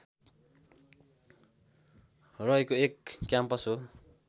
रहेको एक क्याम्पस हो